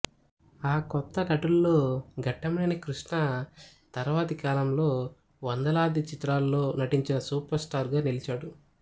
ఆ కొత్తనటుల్లో ఘట్టమనేని కృష్ణ తర్వాతి కాలంలో వందలాది చిత్రాల్లో నటించి సూపర్ స్టార్ గా నిలిచారు